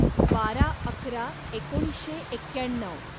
बारा अकरा एकोणीसशे एक्याण्णव